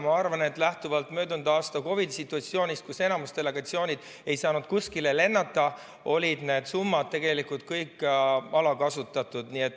Ma arvan, et lähtuvalt möödunud aasta COVID‑i situatsioonist, kus enamik delegatsioone ei saanud kuskile lennata, olid need summad tegelikult kõik alakasutatud.